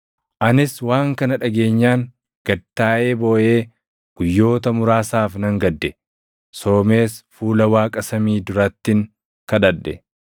Anis waan kana dhageenyaan gad taaʼee booʼee guyyoota muraasaaf nan gadde; soomees fuula Waaqa samii durattin kadhadhe.